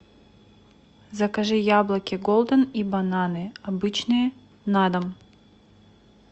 закажи яблоки голден и бананы обычные на дом